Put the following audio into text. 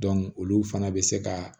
olu fana bɛ se ka